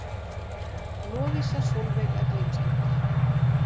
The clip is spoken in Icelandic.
Lovísa Sólveig Erlingsdóttir